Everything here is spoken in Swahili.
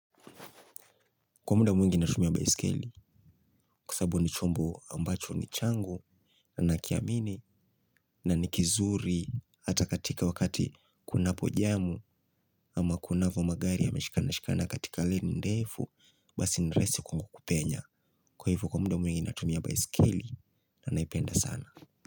Kwa muda mwingi natumia baiskeli kwa sabu ni chombo ambacho ni changu na nakiamini na ni kizuri hata katika wakati kunapojamu ama kunavo magari yameshikana shikana katika leni ndefu basi ni rahisi kupenya. Kwa hivyo kwa muda mwingi natumia baisikeli na naipenda sana.